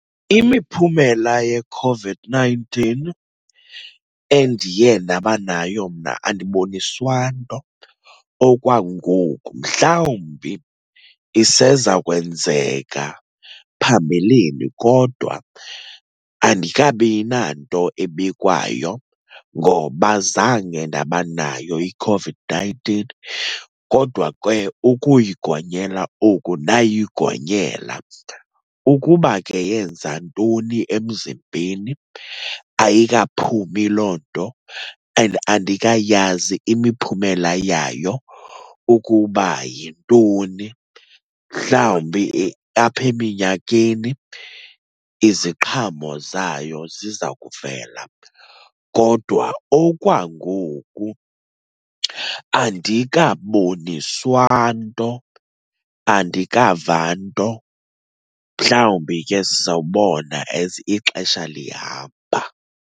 Imiphumela yeCOVID-nineteen endiye ndaba nayo mna andiboniswa nto okwangoku. Mhlawumbi iseza kwenzeka phambilini, kodwa andikabi nanto ebikwayo ngoba zange ndaba nayo iCOVID-nineteen, kodwa ke ukuyigonyela oku ndayigonyela. Ukuba ke yenza ntoni emzimbeni ayikaphumi loo nto and andikayazi imiphumela yayo ukuba yintoni. Mhlawumbi apha eminyakeni iziqhamo zayo ziza kuvela, kodwa okwangoku andikaboniswa nto. Andikava nto, mhlawumbi ke sizawubona as ixesha lihamba.